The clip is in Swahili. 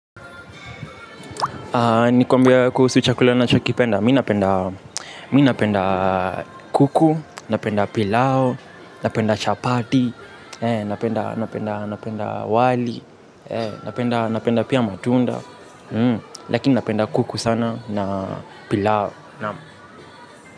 Nikuambie kuhusu chakula ninachokipenda, mimi napenda kuku, napenda pilau, napenda chapati, napenda wali, napenda pia matunda, lakini napenda kuku sana na pilau naam.